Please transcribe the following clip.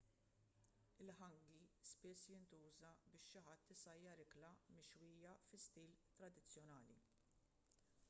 il-hangi spiss jintuża biex xi ħadd isajjar ikla mixwija fi stil tradizzjonali